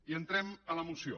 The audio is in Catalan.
i entrem a la moció